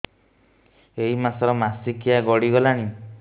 ଏଇ ମାସ ର ମାସିକିଆ ଗଡି ଗଲାଣି